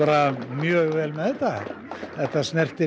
mjög vel með þetta þetta snertir